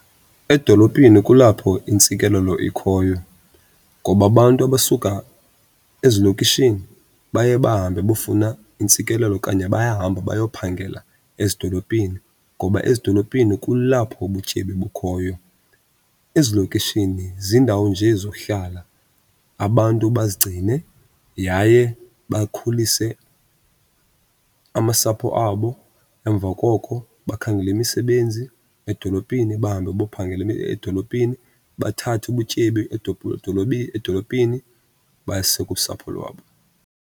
Edolophini kulapho intsikelelo ikhoyo ngoba abantu abasuka ezilokishini baye bahambe bofuna intsikelelo okanye bayahamba bayophangela ezidolophini, ngoba ezidolophini kulapho ubutyebi obukhoyo. Ezilokishini ziindawo nje zohlala abantu bazigcine yaye bakhulise amasapho abo. Emva koko bakhangele imisebenzi edolophini bahambe bophangela edolophini, bathathe ubutyebi edolophini bayise kusapho lwabo.